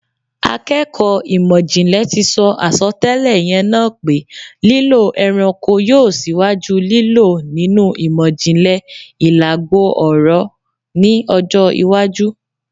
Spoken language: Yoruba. Àkẹ́kọ̀ ìmọ̀-jìnlẹ̀ tì sọ àsọtẹ́lè yẹn naá pé lílò ẹranko yio síwájú lílò nínù ìmọ̀-jìnlẹ̀ ìlàgboọ̀rọ́ ni ọjọ̀ iwájú